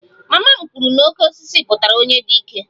Mama m kwuru na 'oke osisi' pụtara onye dị ike